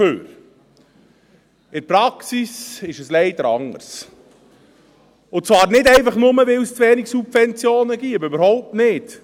In der Praxis ist es leider anders, und zwar nicht einfach nur, weil es zu wenig Subventionen gäbe – überhaupt nicht!